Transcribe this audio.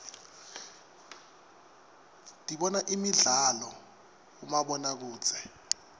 dibona imidlalo uibomabonokudze